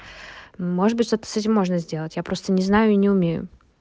может быть что-то с этим можно сделать я просто не знаю и не умею